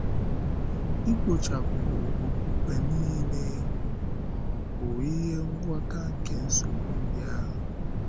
Ịkpochàpụ okpukpe niile ọ̀ bụ ihe ngwọta nke nsogbu ndị ahụ?